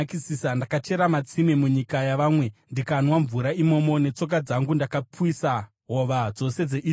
Ndakachera matsime munyika yavamwe, ndikanwa mvura imomo. Netsoka dzangu ndakapwisa hova dzose dzeIjipiti.’